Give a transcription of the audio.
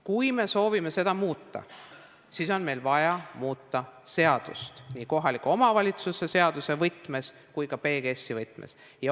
Kui me soovime seda muuta, siis on meil vaja muuta seadust nii kohaliku omavalitsuse seaduse võtmes kui ka PGS-i võtmes.